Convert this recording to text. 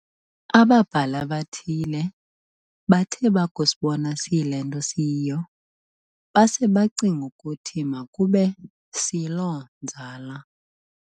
Ababhali abathile bathe bakusibona siyilento siyio, base becinga ukuthi makube siyiloo nzala.